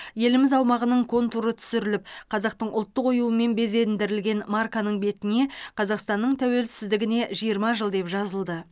еліміз аумағының контуры түсіріліп қазақтың ұлттық оюымен безендірілген марканың бетіне қазақстанның тәуелсіздігіне жиырма жыл деп жазылды